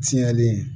Fiyɛli